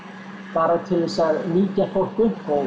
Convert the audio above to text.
bara til þess að mýkja fólk upp og